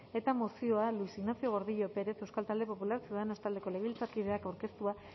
eta mozioa luis ignacio gordillo pérez euskal talde popularra ciudadanos taldeko legebiltzarkideak aurkeztua